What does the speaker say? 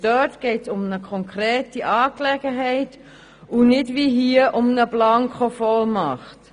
Dort geht es um eine konkrete Angelegenheit und nicht wie hier um eine Blankovollmacht.